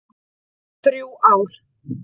Þrjú ár.